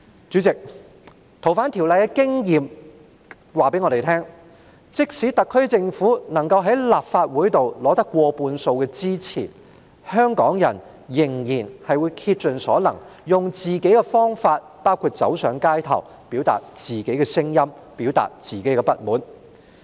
主席，《逃犯條例》的經驗告訴我們，即使政府能夠在立法會取得過半數支持，香港人仍然會竭盡所能，用自己的方法，包括走上街頭，表達自己的聲音和不滿。